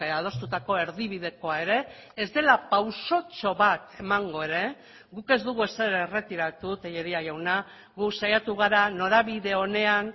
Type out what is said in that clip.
adostutako erdibidekoa ere ez dela pausotxo bat emango ere guk ez dugu ezer erretiratu tellería jauna gu saiatu gara norabide onean